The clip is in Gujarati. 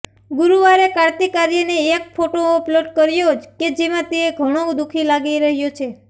ગુરૂવારે કાર્તિક આર્યને એક ફોટો અપલોડ કર્યો કે જેમાં તે ઘણો દુખી લાગી રહ્યો છે